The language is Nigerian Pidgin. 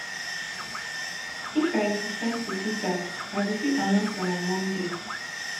if i decide to do dat i go fit announce am on monday